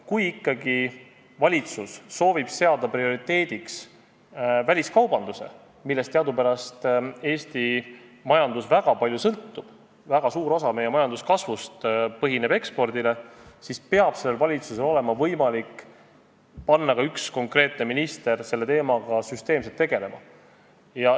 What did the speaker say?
Kui ikkagi valitsus soovib seada prioriteediks väliskaubanduse, millest teadupärast Eesti majandus väga palju sõltub – väga suur osa meie majanduskasvust põhineb ekspordil –, siis peab valitsusel olema võimalik panna üks konkreetne minister selle teemaga süsteemselt tegelema.